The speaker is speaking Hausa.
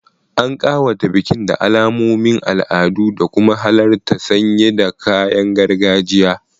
An kawata bikin da alamomin al'adu, da kuma mahalarta sanye da kayan gargajiya.